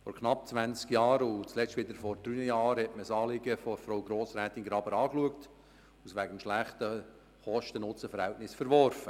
Vor knapp zwanzig Jahren und das letzte Mal vor drei Jahren hat man das Anliegen von Grossrätin Graber geprüft und wegen schlechtem Kosten-Nutzen-Verhältnis verworfen.